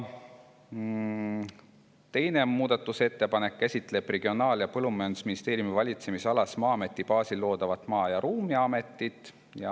Teine muudatusettepanek käsitleb Regionaal- ja Põllumajandusministeeriumi valitsemisalas Maa-ameti baasil loodavat Maa- ja Ruumiametit.